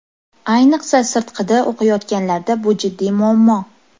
Ayniqsa sirtqida o‘qiyotganlarda bu jiddiy muammo.